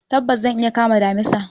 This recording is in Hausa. Tabbas! zan iya kama damisa.